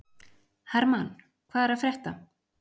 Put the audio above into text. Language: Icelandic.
Hermann, hvað er að frétta?